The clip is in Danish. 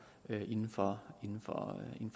inden for